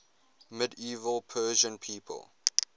medieval persian people